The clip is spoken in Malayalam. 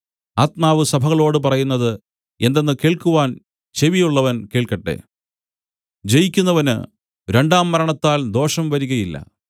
ആത്മാവ് സഭകളോടു പറയുന്നത് എന്തെന്ന് കേൾക്കുവാൻ ചെവിയുള്ളവൻ കേൾക്കട്ടെ ജയിക്കുന്നവന് രണ്ടാം മരണത്താൽ ദോഷം വരികയില്ല